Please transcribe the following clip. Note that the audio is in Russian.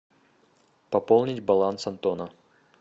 пополнить баланс антона